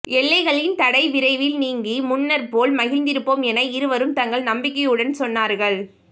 எல்லைகளின் தடை விரைவில் நீங்கி முன்னர் போல் மகிழ்ந்திருப்போம் என இருவரும் தங்கள் நம்பிக்கையுடன் சொன்னார்கள்